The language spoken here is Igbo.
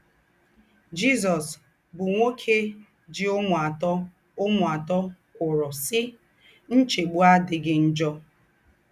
Jésús, bụ́ nwókè jì úmù àtọ̀ úmù àtọ̀ kwòrò, sí: “ Ńchègbù àdíghì njọ̀. ”